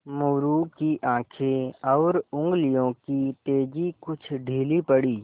मोरू की आँखें और उंगलियों की तेज़ी कुछ ढीली पड़ी